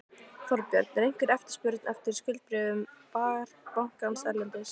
Þorbjörn: Er einhver eftirspurn eftir skuldabréfum bankans erlendis?